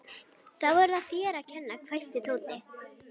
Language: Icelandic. Þá er það þér að kenna, hvæsti Tóti.